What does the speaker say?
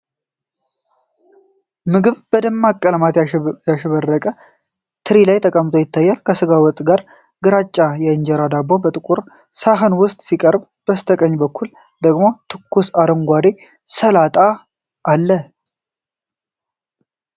ምግብ በደማቅ በቀለማት ያሸበረቀ ትሪ ላይ ተቀምጦ ይታያል። ከስጋ ወጥ ጋር ግራጫማ የእንጀራ ዳቦ በጥቁር ሳህን ውስጥ ሲቀርብ፣ በስተቀኝ በኩል ደግሞ ትኩስ አረንጓዴ ሰላጣ አለ።